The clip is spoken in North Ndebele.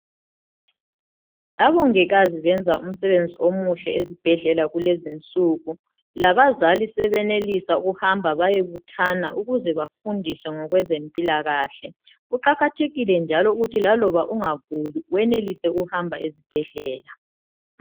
omongikazi bayenza umsebenzi omuhle ezibhedlela kulezinsu labazali sebenelisa ukuhamba bayebuthana ukuze bafundiswe ngezempilakahle kuqakathekile njalo ukuthi laloba ungaguli wenelise ukuhamba esibhedlela